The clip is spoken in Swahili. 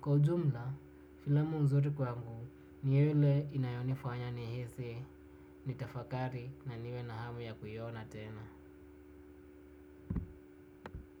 kwa ujumla filamu nzuri kwangu ni ile inanifanya nitafakari na niwe na hamu ya kuiona.